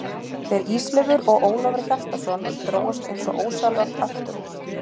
Þeir Ísleifur og Ólafur Hjaltason drógust eins og ósjálfrátt aftur úr.